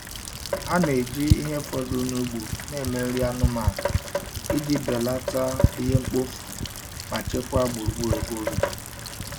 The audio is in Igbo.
Ha na-eji ihe fọdụrụ n'ugbo na-eme nri anụmanụ iji belata ihe mkpofu ma chekwaa gburugburu ebe obibi.